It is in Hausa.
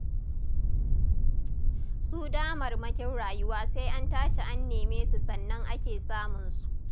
Su damarmakin rayuwa sai an tashi an neme su sannan ake samunsu.